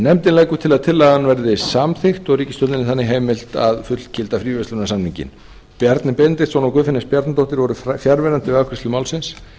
nefndin leggur til að tillagan verði samþykkt og ríkisstjórninni þannig heimilt að fullgilda fríverslunarsamninginn bjarni benediktsson og guðfinna s bjarnadóttir voru fjarverandi við afgreiðslu málsins